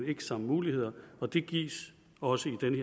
ikke samme muligheder og det gives også i den